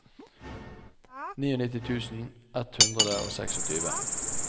nittini tusen ett hundre og tjueseks